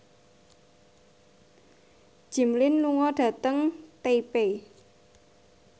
Jimmy Lin lunga dhateng Taipei